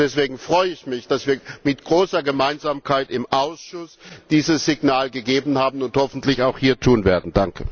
Deswegen freue ich mich, dass wir mit großer Gemeinsamkeit im Ausschuss dieses Signal gegeben haben und dies hoffentlich auch hier tun werden.